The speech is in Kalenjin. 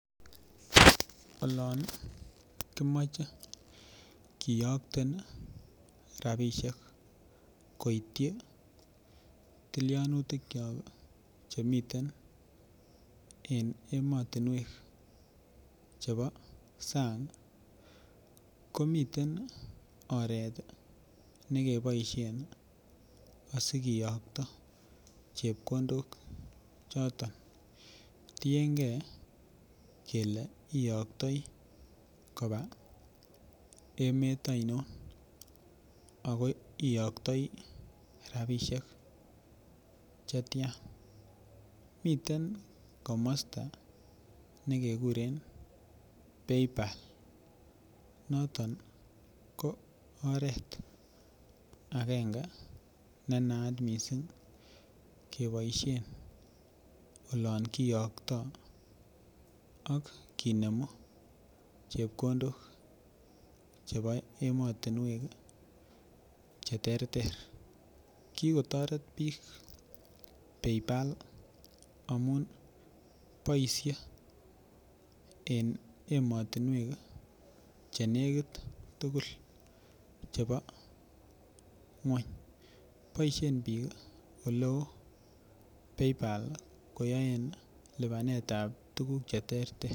Olon kimoche kiyokten rabisiek koityi tilyanutikiok Che miten en emotinwek chebo sang ko miten oret ne keboisien asi kiyokto chepkondok choton tienge kele iyoktoi koba emet ainon ago iyoktoi rabisiek Che tian miten komosta ne keguren paypal noton ko oret agenge ne naat mising keboisien olon kiyoktoi ak kinemu chepkondok chebo emotinwek Che terter ki kotoret bik pay pal amun boisie en emotinwek Che negit tugul chebo ngwony boisien bik oleo PayPal koyoen lipanetap tuguk Che terter